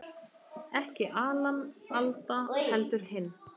Ekki Alan Alda, heldur hinn